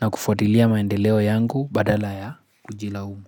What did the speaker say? na kufuatilia maendeleo yangu badala ya kujilaumu.